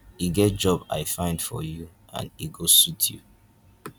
e get job i find for you and e go suit you.